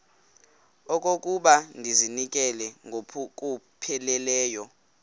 okokuba ndizinikele ngokupheleleyo